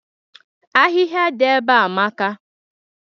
Ahịhịa dị ebea amaka.